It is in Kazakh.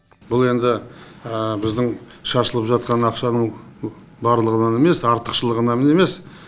бұл енді біздің шашылып жатқан ақшаның барлығынан емес артықшылығынан емес